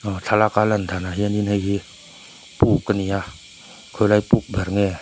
thlalâka lan dânah hianin hei hi pûk a ni a khawilai pûk ber nge--